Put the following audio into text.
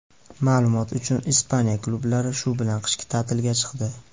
Ma’lumot uchun, Ispaniya klublari shu bilan qishki ta’tilga chiqdi.